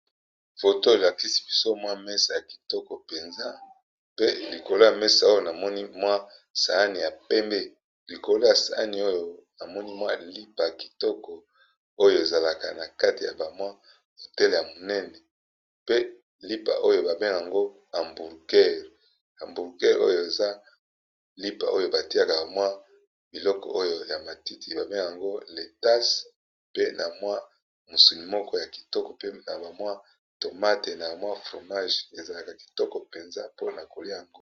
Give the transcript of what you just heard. Photo Oyo elakisi biso MWA mesa ya Kitoko peza likolo ya mesa namoni MWA sahan